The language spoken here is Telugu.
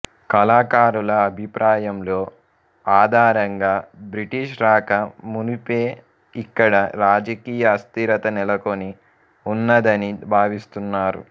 కళాకారుల అభిప్రాయంలో ఆధారంగా బ్రిటిష్ రాక మునుపే ఇక్కడ రాజకీయ అస్థిరత నెలకొని ఉన్నదని భావిస్తున్నారు